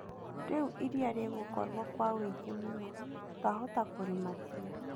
Rĩu iria rĩgũkorwo kwa wũingĩ mũno. Twahota kũrĩmatia.